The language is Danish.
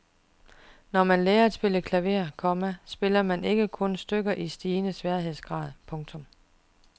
Når man lærer at spille klaver, komma spiller man ikke kun stykker i stigende sværhedsgrad. punktum